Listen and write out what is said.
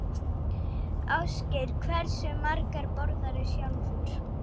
Ásgeir: Hversu margar borðarðu sjálfur?